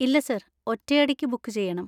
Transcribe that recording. ഇല്ല സർ, ഒറ്റയടിക്ക് ബുക്ക് ചെയ്യണം.